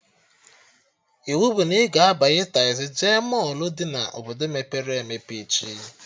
Iwu bụ na ị ga-abanye tazii jee mọlụ dị na Obodo mepere emepe echi!